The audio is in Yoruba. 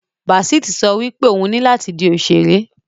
Basit so wipe oun ni lati di òṣèré.